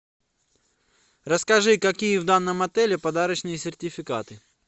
расскажи какие в данном отеле подарочные сертификаты